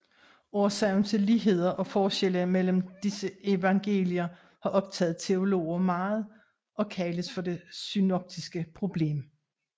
Årsagen til ligheder og forskelle mellem disse evangelier har optaget teologer meget og kaldes for det synoptiske problem